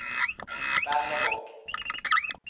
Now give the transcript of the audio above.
Berlevåg